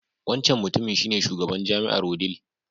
Wancan mutumin shi ne Shugaban jami'ae Wudil.